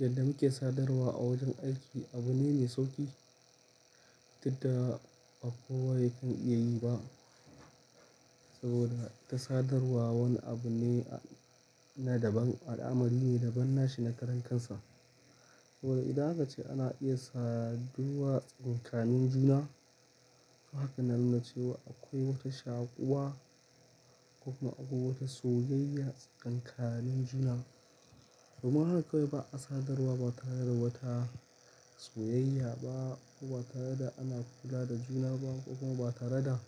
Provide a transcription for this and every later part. Yadda muke sadarwa a wajen aiki abu ne me sauki, tunda ba kowa yake iya yi ba saboda ita sadarwa wani abu ne na daban, al'amari ne daban na shi na karan kansa. To idan aka ce ana iya saduwa tsakanin juna. To haka nanuna cewa akwai wata shaƙuwa ko kuma akwai wata soyayya tsakanin juna. Kuma haka akwai ba a sadarwa ba tare da wata soyayya ba ko ba tare da ana kula da juna ba ko kuma ba tare da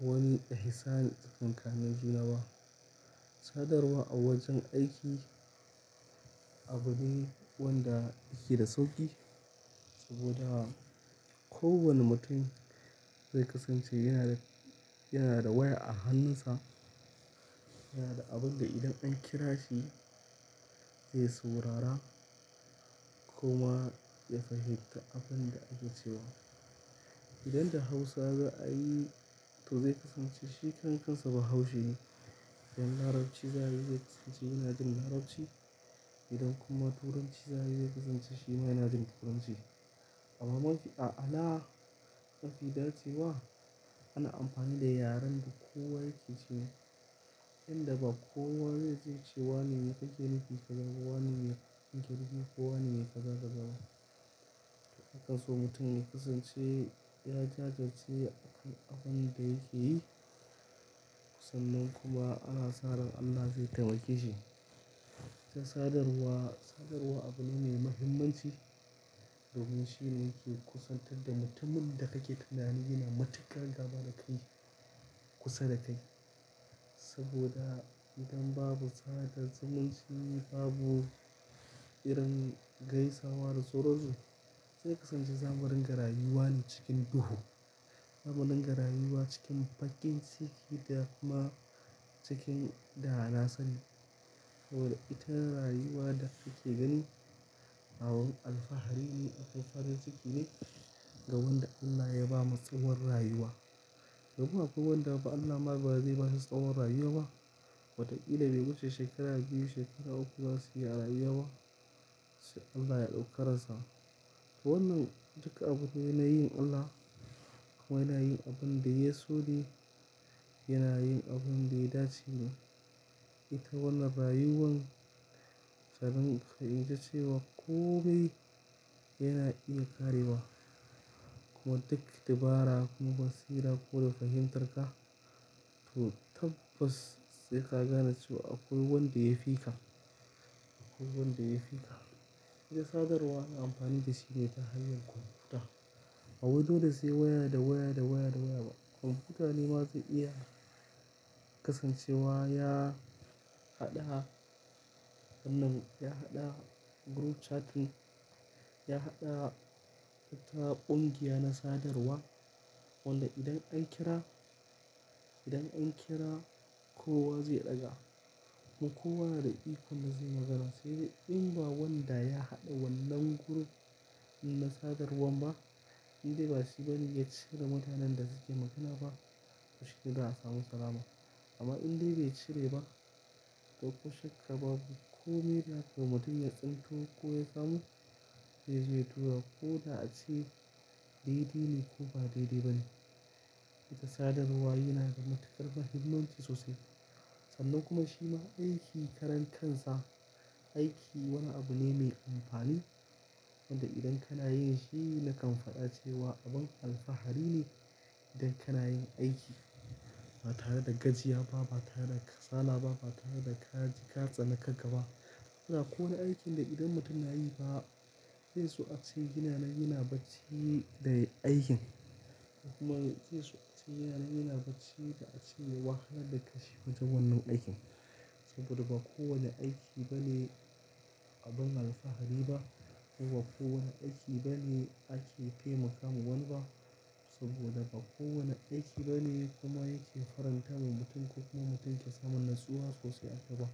wani ihsani tsakanin juna ba. Sadarwa a wajen aiki abu ne wanda yake da sauki saboda kowane mutum zai kasance yana da, yana da waya a hannunsa, yana da abin da idan an kira shi zai saurara kuma ya fahimta abin da aka ce wa. Idan da Hausa za a yi to zai kasance shi karab kansa ba Haushe ne. Idan Larabci za a yi zai kasance yana jin Larabci. Idan kuma Turanci za a yi zai kasance shi ma yana jin Turanci. Amma mafi a'ala ma fi dace wa ana amfani da yaren da kowa yake ce, yanda ba kowa zai ce wane me kake nufi ka zaba, wane ne ka girbi ko wane ne ka zaga zaba. Anaso mutum ya kasance ya jajirce akan abin da yake yi. Sannan kuma ana sa ran Allah zai taimake shi. Sadarwa, sadarwa abu ne mai muhimmanci domin shi ne yake kusantar da mutumin da kake tunani yana matuƙa gaba da kai kusa da kai. Saboda idan babu sadar zumun chi babu irin gaisawa da sauransu. Zai kasance zamu rin garayuwa ne cikin duhu. Zamu din garayuwa cikin bakin ciki da kuma cikin da na sani. Saboda ita rayuwa da kuke gani abon alfahari ne, alfaharin ciki ne ga wanda Allah ya ba masa war rayuwa. Domi akwai wanda fa Allah ma bazai bashi tsawon rayuwa ba. Watakila bai wuche shekara biyu, shekara uku zasu yi a rayuwa sai Allah ya ɗaukaransa. To wannan duka abu ne na yin Allah kuma yana yin abun da ya sone, yana yin abin da ya dace ne. Ita wannan rayuwan sabin fa'ida ce wa komai yana iya ƙarewa. Kuma duk dabara kuma basira ko da ka hintar ka, to tabbas sai ka gane cewa akwai wanda ya fi ka, akwai wanda ya fi ka. Ita sadarwa ana amfani da shi ne ta hanyar kwamfuta. A wajen da sai waya da waya da waya da waya ba. Kwamfuta ne mazai iya kasancewa ya haɗa wannan, ya haɗa group chatting, ya haɗa wata ƙungiya na sadarwa wanda idan an kira, idan an kira kowa zai ɗaga. Kuma kowa na da ikonda zai magana. Sai dai in ba wanda ya haɗa wannan group na sadarwan ba, indai ba shi bane ya cire mutanen da suke magana ba ko shi ne da'a samu salama. Amma in dai bai cire ba, to kushekka babu. Ko me da ko mutum ya tsinto ko ya samu, zai zai tura. Ko da ace daidai ne ko ba daidai ba ne. Ita sadarwa yana da matuƙar muhimmanci sosai. Sannan kuma shi ma aiki karen kansa, aiki wani abu ne mai amfani wanda idan kana yin shi nakan faɗa cewa abin alfahari ne idan kana yin aiki. Ba tare da gajiya ba, ba tare da kasala ba, ba tare da ka, ka tsane kaga ba. Don akwai wa ne aikin da idan mutum na yi fa zai so ace yananan, yana bacci da aikin. Kuma zai so ace yana, yana bacci da a ceya wahala da kanshi wajen wannan aikin. Saboda ba kowane aiki bane abin alfahari ba. Kuma ba kowane aiki bane ake tai makama wani ba. Saboda ba kowane aiki bane kuma yake faranta wa mutum ko kuma mutum ke samun natsuwa sosai a kai ba.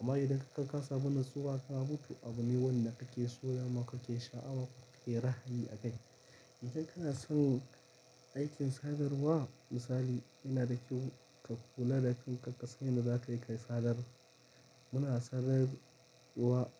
Amma idan ka ka sabon nassuwa ka mutu, abu ne wannan ake so ma ko ke sha'awa ko ake rahali a kai. Idan kana son aikin sadarwa, misali ina da kyau ka kula da kanka ka san yanda za kai kai sadarwa. Muna sadarwa a.